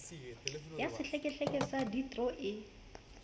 ya sehlekehleke sa deidro e